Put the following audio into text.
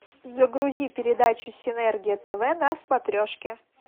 загрузи передачу синергия тв на смотрешке